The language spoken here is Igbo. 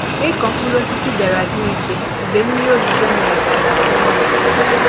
ịkụ mkpụrụ osisi bịara dị mfe mgbe mmiri ozizo mere kà àlà dị nro